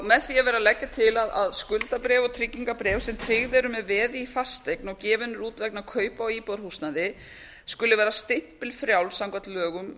með því er verið að leggja til að skuldabréf og tryggingarbréf sem tryggð eru með veði í fasteign og gefin eru út vegna kaupa á íbúðarhúsnæði skuli vera stimpilfrjáls samkvæmt lögum